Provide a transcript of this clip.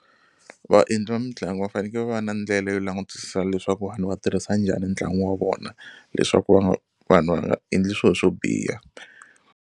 Vaendli va mitlangu va faneke va va na ndlela yo langutisisa leswaku vanhu va tirhisa njhani ntlangu wa vona leswaku va vanhu va nga endli swilo swo biha.